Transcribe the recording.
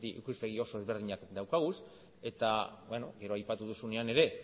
ikuspegi oso ezberdinak dauzkagu eta gero aipatu duzunean ere